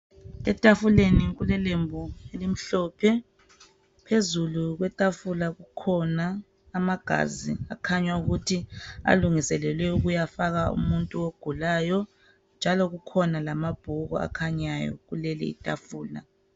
Etafuleni kulelembu elimhlophe .Phezulu kwetafula kukhona amagazi akhanya ukuthi alungiselelwe ukuyafaka umuntu ogulayo njalo kukhona lamabhuku akhanyayo kulelo tafula.